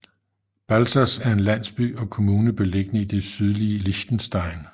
Balzers er en landsby og kommune beliggende i det sydlige Liechtenstein